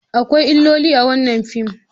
Akwai illoli a wannan fim.